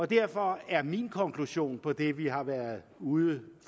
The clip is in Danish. derfor er min konklusion på det vi har været ude